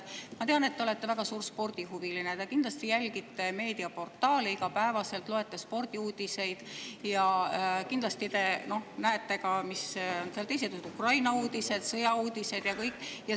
Ma tean, et te olete väga suur spordihuviline, te kindlasti jälgite meediaportaale igapäevaselt, loete spordiuudiseid ja kindlasti näete seal ka teisi uudiseid: Ukraina uudiseid, sõjauudiseid ja kõike.